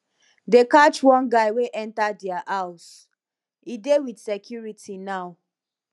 dey catch one guy wey enter their house he dey with security now